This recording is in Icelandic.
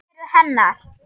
Það eru hennar.